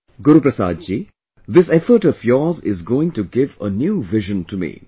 Guru Prasad ji, this effort of yours is going to give a new vision to me